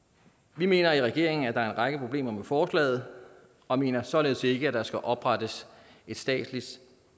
vi mener i regeringen at der er en række problemer med forslaget og mener således ikke at der skal oprettes et statsligt